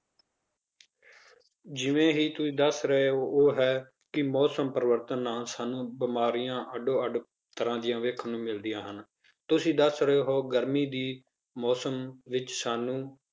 ਜਿਵੇਂ ਹੀ ਤੁਸੀਂ ਦੱਸ ਰਹੇ ਹੋ ਉਹ ਹੈ ਕਿ ਮੌਸਮ ਪਰਿਵਰਤਨ ਨਾਲ ਸਾਨੂੰ ਬਿਮਾਰੀਆਂ ਅੱਡੋ ਅੱਡ ਤਰ੍ਹਾਂ ਦੀਆਂ ਦੇਖਣ ਨੂੰ ਮਿਲਦੀਆਂ ਹਨ, ਤੁਸੀਂ ਦੱਸ ਰਹੇ ਹੋ ਗਰਮੀ ਦੀ ਮੌਸਮ ਵਿੱਚ ਸਾਨੂੰ